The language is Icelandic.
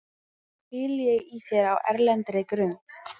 hvíli ég í þér á erlendri grund.